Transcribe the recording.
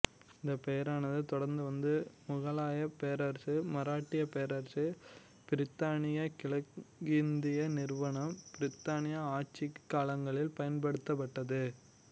இந்தப் பெயரானது தொடர்ந்து வந்த முகலாயப் பேரரசு மராட்டியப் பேரரசு பிரித்தானிய கிழக்கிந்திய நிறுவனம் பிரித்தானிய ஆட்சிக் காலங்களிலும் பயன்படுத்தப்பட்டது